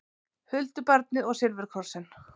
Huldubarnið og silfurkrossinn